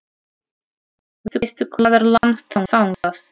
Veistu hvað er langt þangað?